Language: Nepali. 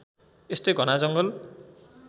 यस्तै घना जङ्गल